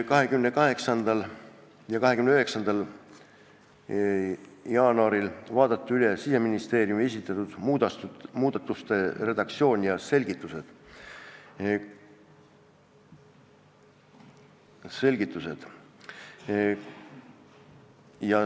28. ja 29. jaanuaril vaadati üle Siseministeeriumi esitatud muudatuste redaktsioon ja selgitused.